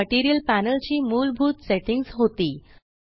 ही material panel ची मूलभूत settings होती